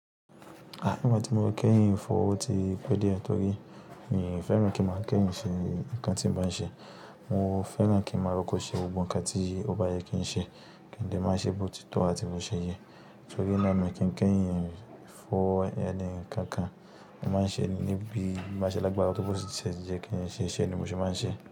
À nígbà tí mo kẹ́yìn fọ̀wọ́ ti pẹ́ díẹ̀ torí èmi fẹ́ràn kí n máa kẹ́yìn ṣe nǹkan tí n bá ń ṣe. Mo fẹ́ràn kí n máa rọkọ ṣe ohun kan tí ó bá yẹ kí n ṣe, kí n lè máa ṣe bó ti tó àti bó ṣe yẹ. Torí náà mi kí n kẹ́yìn ìfọ̀wọ́ ẹni kankan, mo máa ń ṣe níbí, máa ṣe lágbára tó bó ti ṣẹ jẹ kí n ṣe iṣẹ́ ni mo ṣe máa ń ṣe.